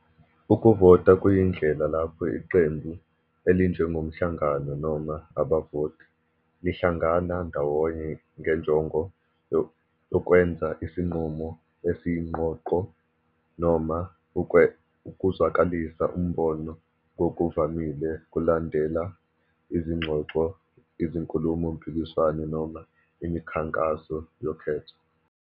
Ukuvota kuyindlela lapho iqembu, elinjengomhlangano noma abavoti, lihlangana ndawonye ngenjongo yokwenza isinqumo esiyiqoqo noma ukuzwakalisa umbono ngokuvamile kulandela izingxoxo, izinkulumo-mpikiswano noma imikhankaso yokhetho.